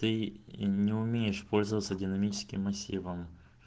ты не умеешь пользоваться динамическим массивом